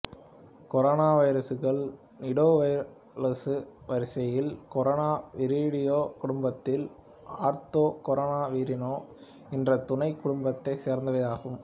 கொரோனாவைரசுகள் நிடோவைரலசு வரிசையில் கொரோனவிரிடே குடும்பத்தில் ஆர்த்தோகொரோனவிரினே என்ற துணைக் குடும்பத்தைச் சேர்ந்தவையாகும்